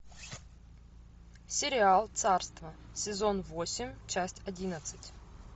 сериал царство сезон восемь часть одиннадцать